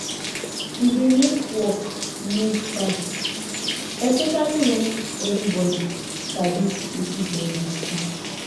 e dey make work move fast especially when everybody sabi wetin dem dey do